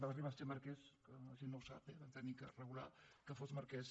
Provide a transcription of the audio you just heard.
va arribar a ser marquès que la gent no ho sap vam haver de regular que fos marquès